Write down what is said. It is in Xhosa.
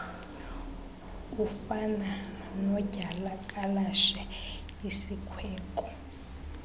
ufana nodyakalashe isikweko